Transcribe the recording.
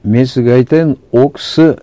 мен сізге айтайын ол кісі